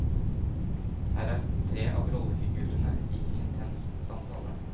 Her er tre av rollefigurene i intens samtale.